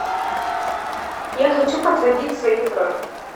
я хочу подтвердить свою бронь